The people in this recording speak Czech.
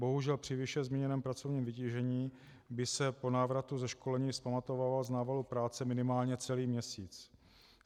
Bohužel při výše zmíněném pracovním vytížení by se po návratu ze školení vzpamatovával z návalu práce minimálně celý měsíc.